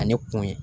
Ani kun ye